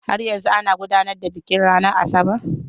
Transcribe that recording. Har yanzu ana gudanar da bikin ranar Asabar.